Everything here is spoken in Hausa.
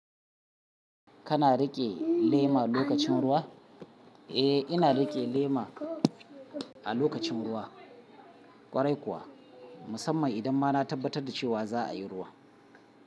Kana riƙe lema lokacin ruwa? Eh, ina riƙe lema a lokacin ruwa. Kwarai kuwa musamman idan ma na tabbatar da cewa za a yi ruwan.